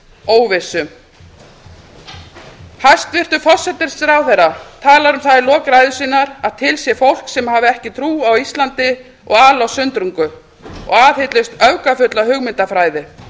óvissu hæstvirtur forsætisráðherra talar um það í lok ræðu sinnar að til sé fólk sem hafi ekki trú á íslandi og ali á sundrungu og aðhyllist öfgafulla hugmyndafræði